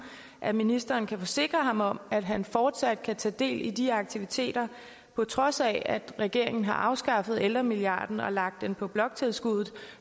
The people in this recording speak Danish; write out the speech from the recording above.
at ministeren kan forsikre ham om at han fortsat kan tage del i de aktiviteter på trods af at regeringen har afskaffet ældremilliarden og lagt den på bloktilskuddet